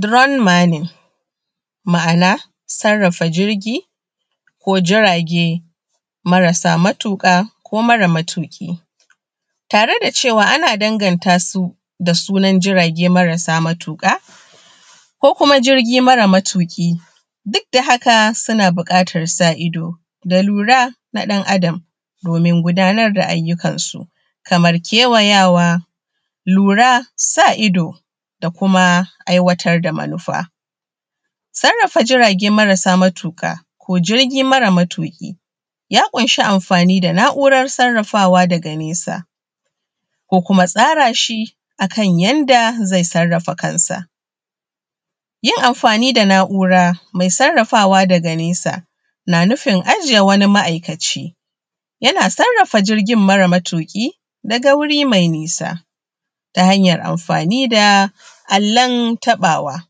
Drone maning ma'ana sarrafa jirgi ko jirage marasa matuƙa ko mara matuƙi tare da cewa ana danganta su da sunan jirage marasa matuƙa ko kuma jirgi mara matuƙi. Duk da haka suna buƙatan sa ido da lura na ɗan Adam domin gudanar da ayyukan su kamar kewayawa, lura, sa ido, da kuma aiwatar da manufa. Sarrafa jirage marasa matuƙa ko jirgi mara matuƙi ya ƙunshi amfani da na’urar sarrafawa daga nesa, ko kuma tsara shi akan yanda zai sarrafa kansa, yin amfani da na’ura mai sarrafawa daga nesa na nufin ajiye wani ma'aikaci yana sarrafa jirgin mara matuƙi daga wuri mai nisa ta hanyan amfani da allon taɓawa.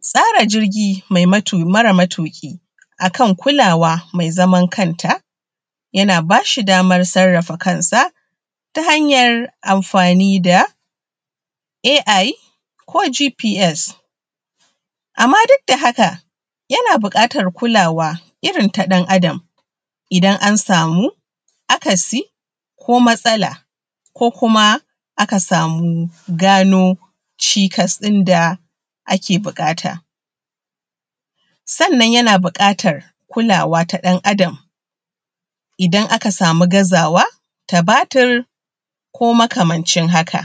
Tsara jirgi mara matuƙi a kan kulawa mai zaman kanta yana ba shi daman sarrafa kansa ta hanyar amfani da AI ko GPS amma duk da haka yana buƙatan kulawa irin ta ɗan Adam idan an samu akasi, ko matsala, ko kuma aka samu gano cikas ɗin da ake buƙata, sannan yana buƙatan kulawa ta ɗan Adam idan aka samu gazawa ta batir ko makamancin haka.